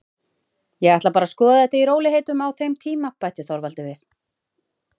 Ég ætla bara að skoða þetta í rólegheitum á þeim tíma, bætti Þorvaldur við.